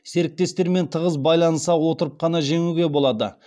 серіктестермен тығыз байланыса отырып қана жеңуге болады